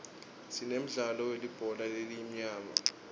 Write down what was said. sinemdlalo welibhola letinyawo